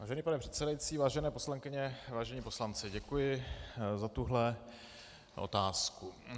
Vážený pane předsedající, vážené poslankyně, vážení poslanci, děkuji za tuhle otázku.